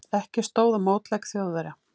Ekki stóð á mótleik Þjóðverja.